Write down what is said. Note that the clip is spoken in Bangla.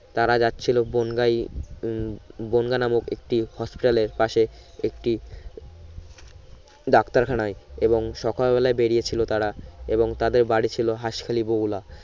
তার যাচ্ছিল বঙ্গাই উম বঙ্গা নামক একটি Hospital এ পাশে একটি ডাক্তার খানায় এবং সকাল বেলায় বেরিয়ে ছিলো তারা এবং তাদের বাড়ি ছিলো হাসখালি বগুলা